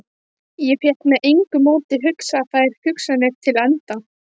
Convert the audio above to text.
Ég fékk með engu móti hugsað þær hugsanir til enda.